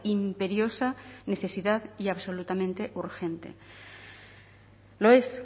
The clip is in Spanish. imperiosa necesidad y absolutamente urgente lo es